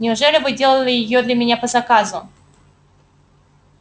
неужели вы делали её для меня по заказу